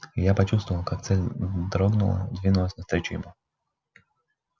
и я почувствовал как цель дрогнула двинулась навстречу ему